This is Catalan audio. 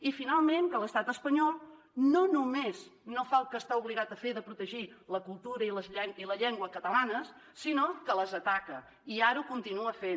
i finalment que l’estat espanyol no només no fa el que està obligat a fer de protegir la cultura i la llengua catalanes sinó que les ataca i ara ho continua fent